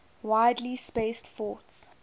widely spaced forts